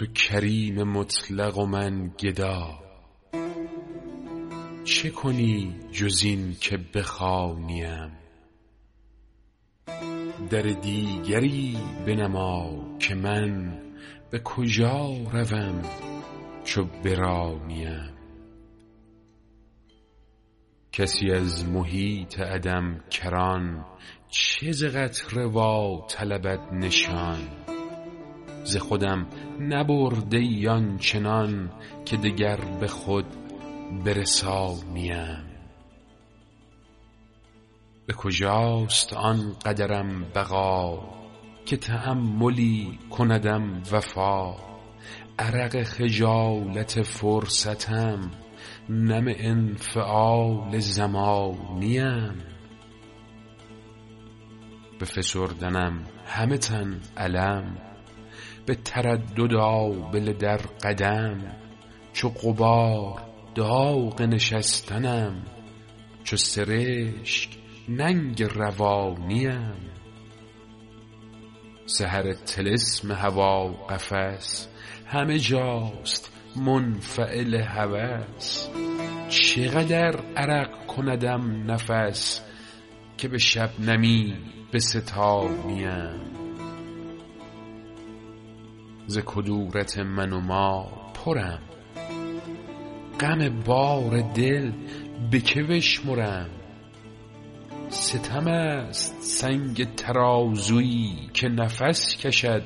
تو کریم مطلق و من گدا چه کنی جز این که بخوانی ام در دیگری بنما که من به کجا روم چو برانی ام کسی از محیط عدم کران چه ز قطره واطلبد نشان ز خودم نبرده ای آن چنان که دگر به خود برسانی ام به کجاست آن قدرم بقا که تأملی کندم وفا عرق خجالت فرصتم نم انفعال زمانی ام به فسردنم همه تن الم به تردد آبله در قدم چو غبار داغ نشستنم چو سرشک ننگ روانی ام سحر طلسم هوا قفس همه جاست منفعل هوس چه قدر عرق کندم نفس که به شبنمی بستانی ام ز کدورت من و ما پرم غم بار دل به که بشمرم ستم است سنگ ترازویی که نفس کشد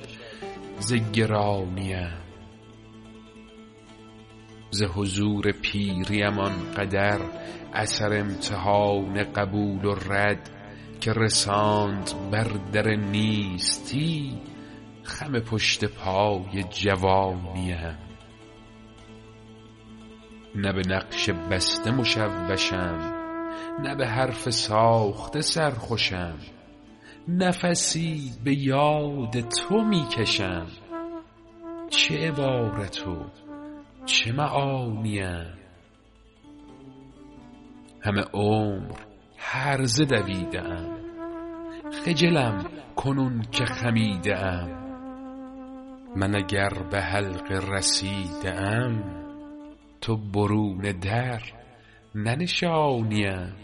ز گرانی ام ز حضور پیری ام این قدر اثر امتحان قبول و رد که رساند بر در نیستی خم پشت پای جوانی ام نه به نقش بسته مشوشم نه به حرف ساخته سرخوشم نفسی به یاد تو می کشم چه عبارت و چه معانی ام همه عمر هرزه دویده ام خجلم کنون که خمیده ام من اگر به حلقه رسیده ام تو برون در ننشانی ام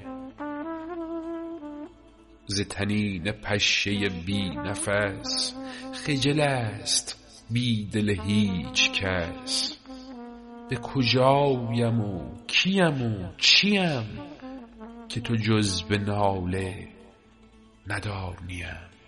ز طنین پشه بی نفس خجل است بیدل هیچکس به کجایم و کی ام و چی ام که تو جز به ناله ندانی ام